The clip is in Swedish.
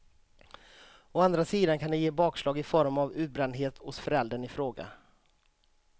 Å andra sidan kan det ge bakslag i form av utbrändhet hos föräldern i fråga.